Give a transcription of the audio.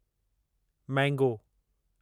mango